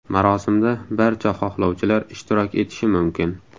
Marosimda barcha xohlovchilar ishtirok etishi mumkin.